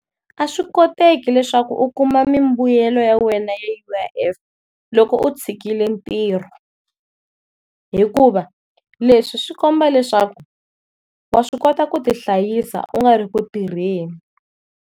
A swi koteki leswaku u kuma mimbuyelo ya wena ya U_I_F loko u tshikile ntirho, hikuva leswi swi komba leswaku wa swi kota ku ti hlayisa u nga ri ku tirheni.